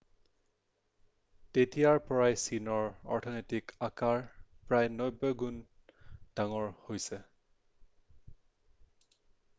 তেতিয়াৰ পৰাই চীনৰ অৰ্থনৈতিক আকাৰ প্ৰায় 90 গুণ ডাঙৰ হৈছে